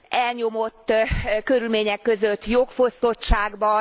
elnyomott körülmények között, jogfosztottságban.